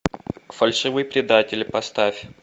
фальшивый предатель поставь